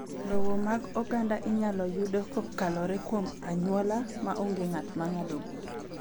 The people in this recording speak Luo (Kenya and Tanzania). Lowo mag oganda inyalo yudo kokalo luom anyuola ma onge ng’at ma ng’ado bura.